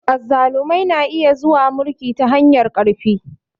Azzalumai na iya zuwa mulki ta hanyar ƙarfi.